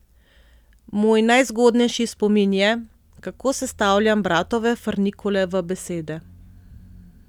Moj najzgodnejši spomin je, kako sestavljam bratove frnikole v besede.